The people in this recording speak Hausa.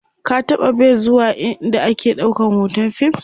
ka taɓa be zuwa ind ake ɗaukan hoton fim?